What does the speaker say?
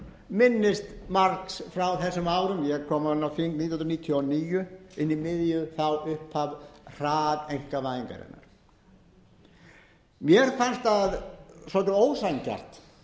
minnist margs frá þessum árum ég kom inn á þing nítján hundruð níutíu og níu inn í miðju upphaf hraðeinkavæðingarinnar mér fannst svolítið ósanngjarnt